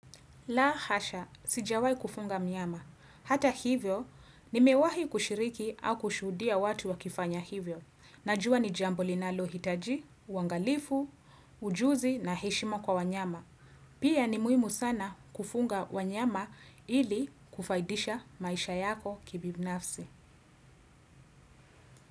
La hasha. Sijawahi kufunga mlango. Hata hivyo, nimewahi kushiriki au kushuhudia watu wakifanya hivyo. Najua ni jambo linalohitaji, uangalifu, ujuzi na heshima kwa wanyama. Pia ni muhimu sana kufunga wanyama ili kufaidisha maisha yako kibinafsi.